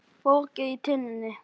Poki í tunnu